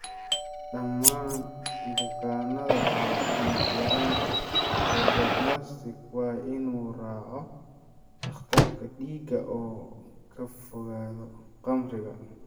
Dhammaan bukaannada qaba dhiig-yaraanta sideroblastic waa in uu raaco dhakhtarka dhiigga oo ka fogaado khamriga.